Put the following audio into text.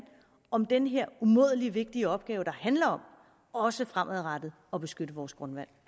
om den her umådelig vigtige opgave der handler om også fremadrettet at beskytte vores grundvand